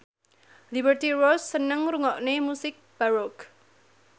Liberty Ross seneng ngrungokne musik baroque